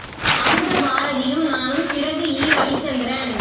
அமுத பாரதியும் நானும் சிறகு இரவிச்சந்திரன்